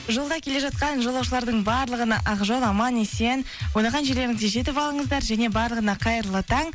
жолда келе жатқан жолаушылардың барлығына ақ жол аман есен ойлаған жерлеріңізге жетіп алыңыздар және барлығына қайырлы таң